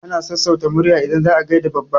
Ana sassauta murya idan za a gaida babba.